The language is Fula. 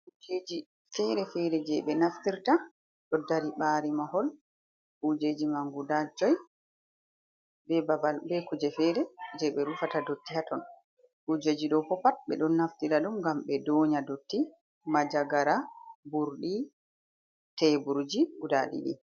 Kujeji fere-fere je ɓe naftirta ɗo ɗari ɓari mahol. Kujeji man guɗa joi. Ɓe ɓaɓal ɓe kuje fere je ɓe rufata ɗotti ha ton. kujeji ɗo ɓo pat be ɗon naftira ɗum ngam ɓe ɗoya ɗotti, manja gara, ɓurɗi teɓurji guɗa ɗiɗi.